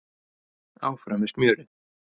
Áfram með smjörið